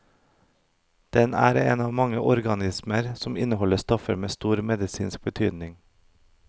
Den er en av mange organismer som inneholder stoffer med stor medisinsk betydning.